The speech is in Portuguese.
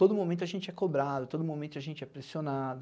Todo momento a gente é cobrado, todo momento a gente é pressionado.